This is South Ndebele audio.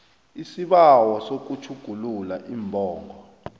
isibawo sokutjhugulula iimbongo